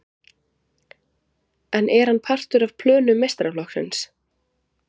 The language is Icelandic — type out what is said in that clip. En er hann partur af plönum meistaraflokksins?